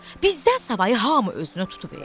Bizdən savayı hamı özünü tutub.